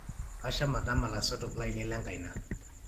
Kasham atama laisotok lainie lenkaina